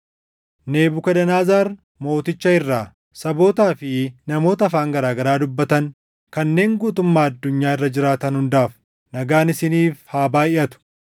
Nebukadnezar Mooticha irraa, Sabootaa fi namoota afaan garaa garaa dubbatan kanneen guutummaa addunyaa irra jiraatan hundaaf: Nagaan isiniif haa baayʼatu!